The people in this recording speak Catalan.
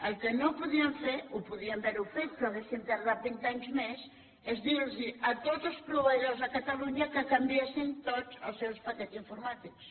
el que no podíem fer ho podíem haver fet però hauríem tardat vint anys més és dir los a tots els proveïdors de catalunya que canviessin tots els seus paquets informàtics